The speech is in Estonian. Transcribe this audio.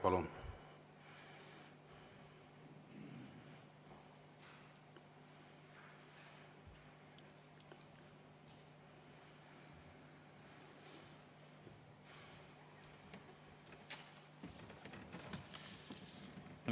Palun!